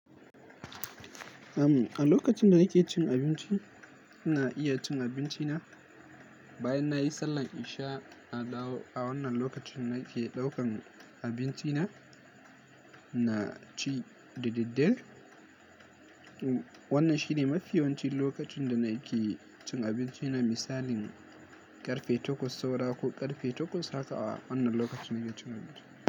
Am, a lokacin da nake cin abinci, ina iya cin abinci na. Bayan nayi sallan isha, a dawo a wannan lokacin nake ɗaukan abinci na, na ci d daddare. Wannan shine mafi yawancin lokacin da nake cin abinci na misalin ƙarfe takwas saura ko ƙarfe takwas haka a wannan lokacin zan cin abinci.